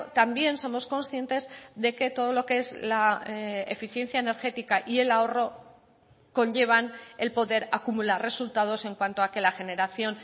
también somos conscientes de que todo lo que es la eficiencia energética y el ahorro conllevan el poder acumular resultados en cuanto a que la generación